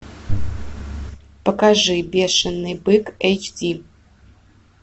покажи бешеный бык эйч ди